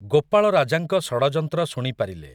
ଗୋପାଳ ରାଜାଙ୍କ ଷଡ଼ଯନ୍ତ୍ର ଶୁଣି ପାରିଲେ ।